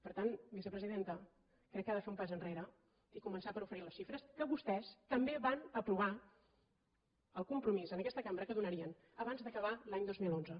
per tant vicepresidenta crec que ha de fer un pas enrere i començar per oferir les xifres que vostès també van aprovar el compromís en aquesta cambra que donarien abans d’acabar l’any dos mil onze